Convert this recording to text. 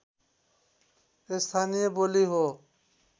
स्थानीय बोली हो